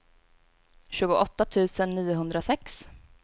tjugoåtta tusen niohundrasex